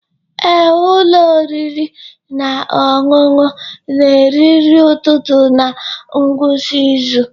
Ee, ụlọ oriri na ọṅụṅụ na-eri nri ụtụtụ na ngwụsị izu.